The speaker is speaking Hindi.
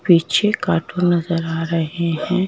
पीछे कार्टून नजर आ रहे हैं।